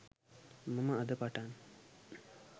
මම අද පටන්